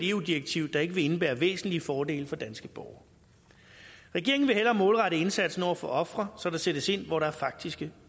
eu direktiv der ikke vil indebære væsentlige fordele for danske borgere regeringen vil hellere målrette indsatsen over for ofre så der sættes ind hvor der faktiske